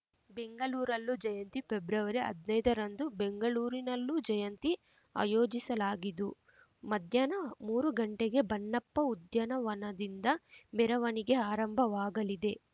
ಬೆಂಗಳೂರಲ್ಲೂ ಜಯಂತಿ ಪೆಬ್ರವರಿಹದ್ನೈದರಂದು ಬೆಂಗಳೂರಿನಲ್ಲೂ ಜಯಂತಿ ಆಯೋಜಿಸಲಾಗಿದು ಮಧ್ಯಾಹ್ನ ಮೂರು ಗಂಟೆಗೆ ಬನ್ನಪ್ಪ ಉದ್ಯಾನವನದಿಂದ ಮೆರವಣಿಗೆ ಆರಂಭವಾಗಲಿದೆ